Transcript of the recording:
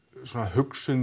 hugsuð